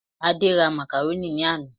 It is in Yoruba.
Adé ra Macaroni ní àná